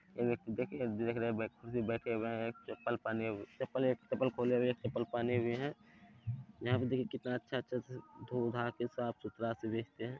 ये देखिये -देख रहे है एक व्यक्ति बैठे हुए हैं एक चप्पल पहने हुए एक चप्पल खोल हुए एक चप्पल पहने हुए हैं यहां पर देखिए कितने अच्छा अच्छा से धो धाके साफ सुथरा से भेजते हैं।